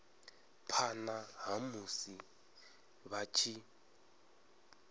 phana ha musi vha tshi